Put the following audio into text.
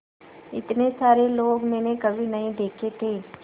इतने सारे लोग मैंने कभी नहीं देखे थे